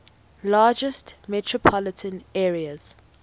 largest metropolitan areas